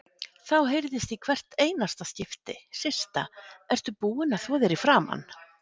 Þá heyrðist í hvert einasta skipti: Systa, ertu búin að þvo þér í framan?